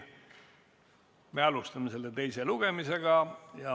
Me alustame selle teist lugemist.